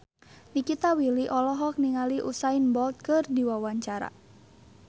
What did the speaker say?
Nikita Willy olohok ningali Usain Bolt keur diwawancara